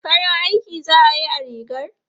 Farin aiki za a yi a rigar?